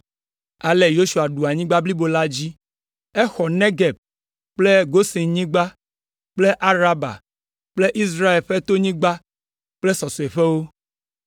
Ale Yosua ɖu anyigba blibo la dzi. Exɔ Negeb kple Gosenyigba kple Araba kple Israel ƒe tonyigbawo kple sɔsɔeƒewo.